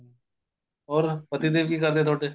ਹੋਰ ਪਤੀ ਦੇਵ ਕੀ ਕਰਦੇ ਤੁਹਾਡੇ